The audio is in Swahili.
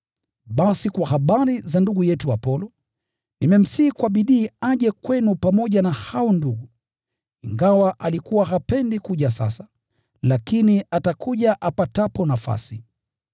Basi kwa habari za ndugu yetu Apolo, nimemsihi kwa bidii aje kwenu pamoja na hao ndugu. Ingawa alikuwa hapendi kabisa kuja sasa, lakini atakuja apatapo nafasi.